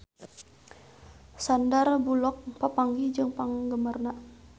Sandar Bullock papanggih jeung penggemarna